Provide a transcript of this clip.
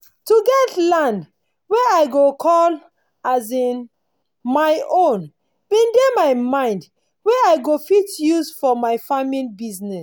to get land wey i go call um my own bin dey my mind wey i go fit use for my farming bizness